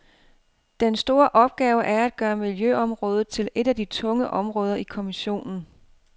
Den store opgave er at gøre miljøområdet til et af de tunge områder i kommissionen.